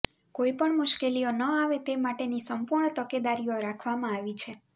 કોઇ પણ મુશ્કેલીઓ ન આવે તે માટેની સંપૂણ તકેદારીઓ રાખવામાં આવીછે